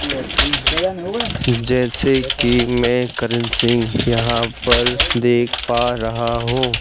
जैसे कि मैं करण सिंह यहां पर देख पा रहा हूं--